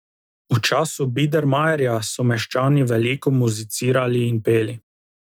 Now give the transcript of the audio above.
V času bidermajerja so meščani veliko muzicirali in peli.